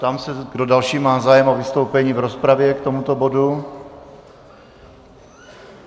Ptám se, kdo další má zájem o vystoupení v rozpravě k tomuto bodu.